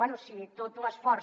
bé si tot l’esforç